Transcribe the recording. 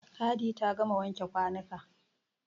Hadi ta gama wanke kwanuka.